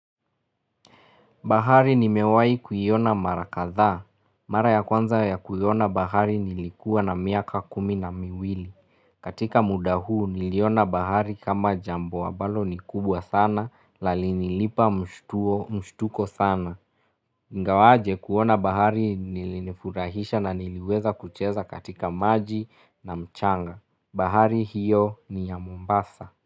Bahari nimewai kuyiona marakadhaa. Mara ya kwanza ya kuiona bahari nilikuwa na miaka kumi na miwili. Katika muda huu niliona bahari kama jambo ambalo ni kubwa sana la linilipa mshtuko sana. Ingawaje kuona bahari nilinifurahisha na niliweza kucheza katika maji na mchanga. Bahari hiyo ni ya Mombasa.